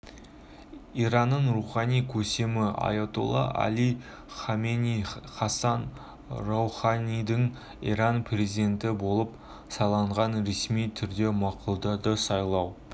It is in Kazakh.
иранның рухани көсемі аятолла әли хаменеи хассан роуханидің иран президенті болып сайланғанын ресми түрде мақұлдады сайлау